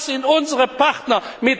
Das sind unsere Partner!